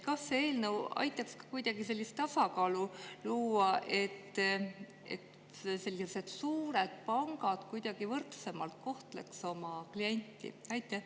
Kas see eelnõu aitaks tasakaalu luua, nii et suured pangad kuidagi võrdsemalt oma kliente kohtlema hakkaksid?